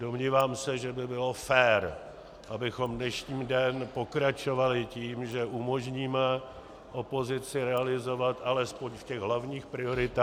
Domnívám se, že by bylo fér, abychom dnešní den pokračovali tím, že umožníme opozici realizovat alespoň v těch hlavních prioritách -